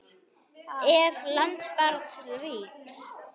Ef. lands barns ríkis